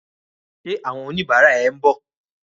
Ṣé àwọn oníbàárà ẹ ń bọ̀?